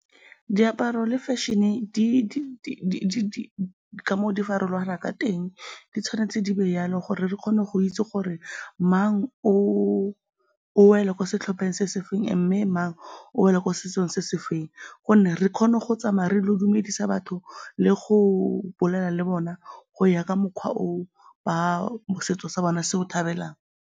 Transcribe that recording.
Diaparo le fashion-e di ka moo di farologanang ka teng, di tshwanetse di be jalo gore re kgone go itse gore mang o wela mo setlhopheng se se feng mme mang o wela ko setsong se se feng gonne re kgone go tsamaya re ile go dumedisa batho le go bolela le bona go ya ka mokgwa o setso sa bone se o thabelang.